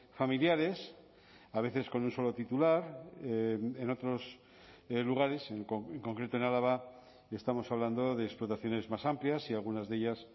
familiares a veces con un solo titular en otros lugares en concreto en álava estamos hablando de explotaciones más amplias y algunas de ellas